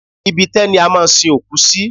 Ibi itẹ́ ni a máa ń sin òkú sí.